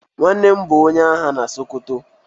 Nwannem bu onye agha na sokoto.